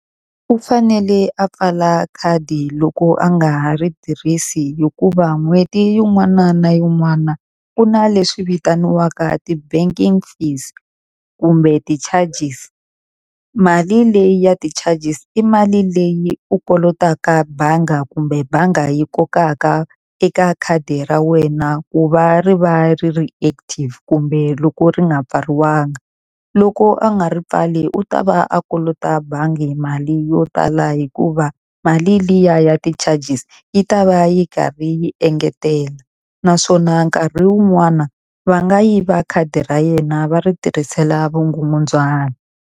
U fanele a pfala khadi loko a nga ha ri tirhisi, hikuva n'hweti yin'wana na yin'wana ku na leswi vitaniwaka ti-banking fees kumbe ti-charges. Mali leyi ya ti-charges i mali leyi u kolotaka bangi kumbe banga yi kokaka eka khadi ra wena ku va ri va ri ri active, kumbe loko ri nga pfariwa nga. Loko a nga ri pfali u ta va a kolota bangi mali yo tala hikuva mali liya ya ti-charges yi ta va yi karhi yi engetela. Naswona nkarhi wun'wana va nga yiva khadi ra yena va ri tirhisela vukungundzwana.